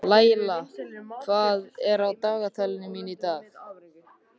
Laila, hvað er á dagatalinu mínu í dag?